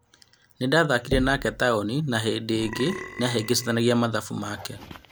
Nĩ ndathakire nake Taũni na hĩndĩ ĩngĩ nĩ ahĩngicanagia mathabu make."